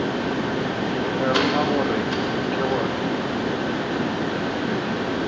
ka ruma gore ke gore